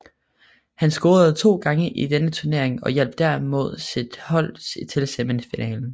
Han scorede to gange i denne turnering og hjalp dermed sit hold til semifinalen